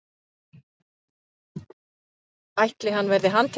ætli hann verði handtekinn?